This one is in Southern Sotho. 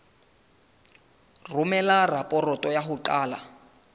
romela raporoto ya ho qala